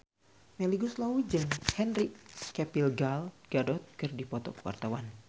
Melly Goeslaw jeung Henry Cavill Gal Gadot keur dipoto ku wartawan